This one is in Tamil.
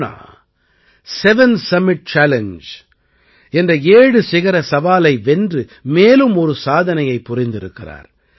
பூர்ணா செவன் சம்மிட் சேலஞ்ஜ் என்ற ஏழு சிகரச் சவாலை வென்று மேலும் ஒரு சாதனையைப் புரிந்திருக்கிறார்